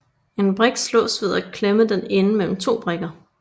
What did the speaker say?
En brik slås ved at klemme den inde mellem to brikker